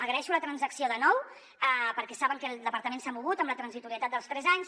agraeixo la transacció de nou perquè saben que el departament s’ha mogut amb la transitorietat dels tres anys